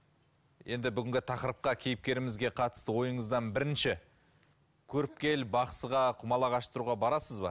енді бүгінгі тақырыпқа кейіпкерімізге қатысты ойыңыздан бірінші көріпкел бақсыға құмалақ аштыруға барасыз ба